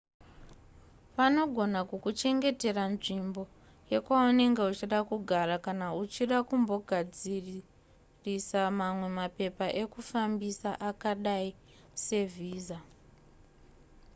vanogona kukuchengetera nzvimbo yekwaunenge uchida kugara kana uchida kumbogadzisisa mamwe mapepa ekufambisa akadai sevhiza